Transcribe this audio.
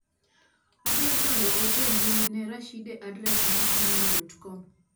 Adwaro chwalo ote mbui ne Rashide adres mar gmai.com.